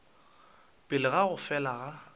pele ga go fela ga